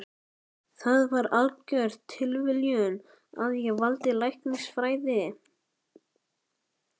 Það var algjör tilviljun að ég valdi læknisfræði.